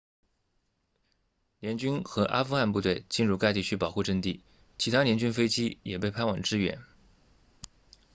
联军和阿富汗部队进入该地区保护阵地其他联军飞机也被派往支援